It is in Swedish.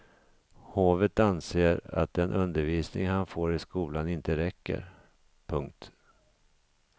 Hovet anser att den undervisning han får i skolan inte räcker. punkt